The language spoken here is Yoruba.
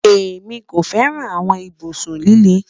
Emi ko fẹran awọn ibusun lile